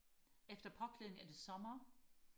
efter påklædning er det sommer